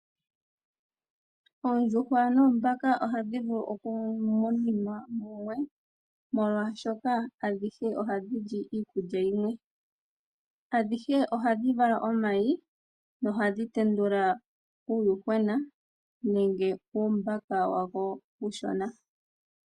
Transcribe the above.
Oondjuhwa noombaka ohadhi vulu oku muninwa mumwe oshoka adhihe ohadhi li iikulya yimwe. Adhihe ohadhi vala omayi nohadhi tendula uuyuhwena nenge uumbaka uushona.